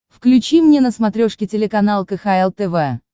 включи мне на смотрешке телеканал кхл тв